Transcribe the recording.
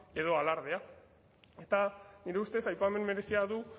edo alardea eta nire ustez aipamen merezia du